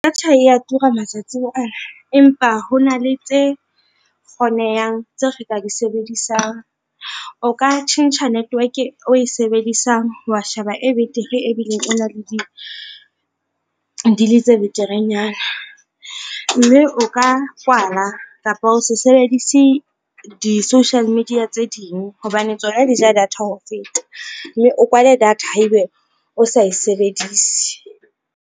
Data ya tura matsatsing ana empa ho na le tse kgonehang tse re ka di sebedisang. O ka tjhentjha network e oe sebedisang, wa sheba e betere ebileng ena le di deal tse beterenyana, mme o ka kwala kapa o se sebedise di-social media tse ding, hobane tsona di ja data ho feta mme o kwale data ha ebe o sa e sebedise.